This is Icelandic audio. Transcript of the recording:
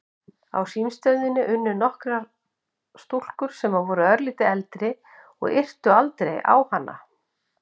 Á símstöðinni unnu nokkrar stúlkur sem voru örlítið eldri og yrtu aldrei á hana.